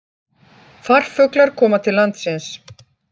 Farfuglar koma til landsins